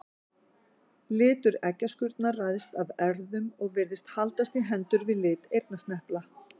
Litur eggjaskurnar ræðst af erfðum og virðist haldast í hendur við lit eyrnasnepla.